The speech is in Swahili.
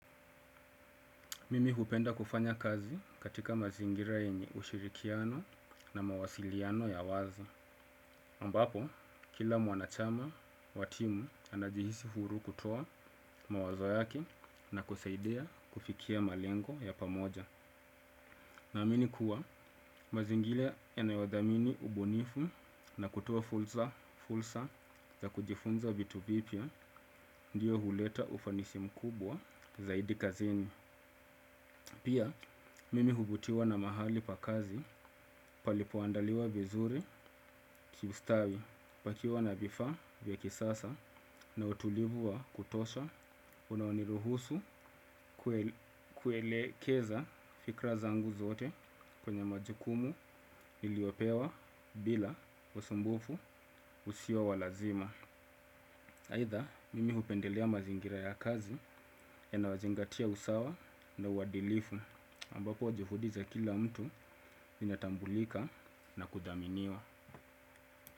Mimi hupenda kufanya kazi katika mazingira yenye ushirikiano na mawasiliano ya wazi. Ambapo kila mwanachama wa timu anajihisi huru kutoa mawazo yake na kusaidia kufikia malengo ya pamoja. Naamini kuwa mazingira yanayothamini ubunifu na kutoa fursa fursa za kujifunza vitu vipya ndiyo huleta ufanisi mkubwa zaidi kazini. Pia, mimi huvutiwa na mahali pa kazi palipoandaliwa vizuri kiustawi pakiwa na vifaa vya kisasa na utulivu wa kutosha unaoniruhusu kuelekeza fikira zangu zote kwenye majukumu niliyopewa bila usumbufu usio wa wa lazima. Aidha, mimi hupendelea mazingira ya kazi yanayozingatia usawa na uadilifu ambapo juhudi za kila mtu zinatambulika na kuthaminiwa.